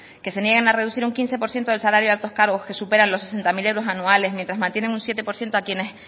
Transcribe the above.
que se niegan a reducir un quince por ciento el salario de altos cargos que superan los sesenta mil euros anuales mientras mantienen un siete por ciento a quienes